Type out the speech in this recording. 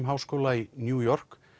háskóla í New York